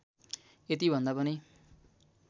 यति भन्दा पनि